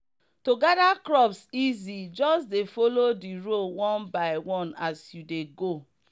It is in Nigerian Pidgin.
to gather crops easy just dey follow the row one by one as you dey go.